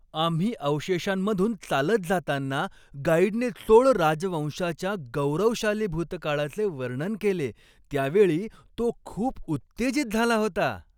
आम्ही अवशेषांमधून चालत जाताना गाईडने चोळ राजवंशाच्या गौरवशाली भूतकाळाचे वर्णन केले त्यावेळी तो खूप उत्तेजित झाला होता.